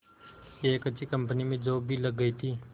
एक अच्छी कंपनी में जॉब भी लग गई थी